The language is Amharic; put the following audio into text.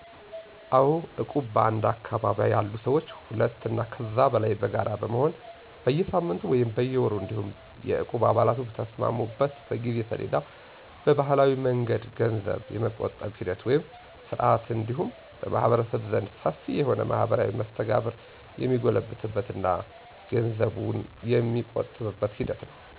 አዎ እቁብ በአንድ አካባቢ ያሉ ሰዎች ሁለት አና ከዚያ በላይ በጋራ በመሆን በየሳምንቱ ወይም በየወሩ እንዲሁም የእቁብ አባላቱ በተስማሙበት የጊዜ ሰሌዳ በባህላዊ መንገድ ገንዘብ የመቆጠብ ሂደት ወይም ስርዓት እንዲሁም በማህበረሰቡ ዘንድ ሰፊ የሆነ ማህበራዊ መስተጋብር የሚጎለብትበት እና ገንዘቡን የመቆጠብ ሂደት ነው።